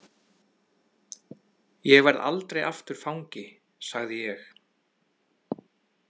Ég verð aldrei aftur fangi, sagði ég.